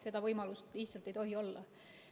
Seda võimalust lihtsalt ei tohi olla.